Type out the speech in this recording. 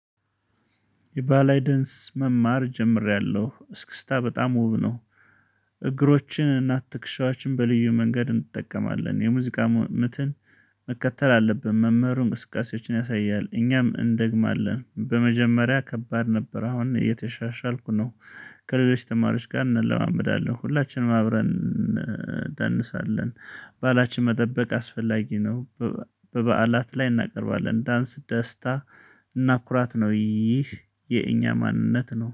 የባላይደንስ መማር ጀምሬያለሁ እስክስታ በጣም ውብ ነው። እግሮችንና ትክክሻዎችን በልዩ መንገድ እንጠቀማለን የሙዚቃ ምትን መከተል አለብን። መህምሩ እንቅስቃሴዎችን ያሳያል። እኛም እንደግማለን በመጀመሪያ ከባድ ነበር። አሁን እየተሻሻልኩ ነው። ከሌሎች ተማሪዎች ጋር እንለማምዳለን ሁላችንም አብረን እንደንሳለን። ባላህችን መጠበቅ አስፈላጊ ነው። በበዓላት ላይ እናቀርባለን ዳንስ ደስታ እናኩራት ነው። ይህ የእኛ ማንነት ነው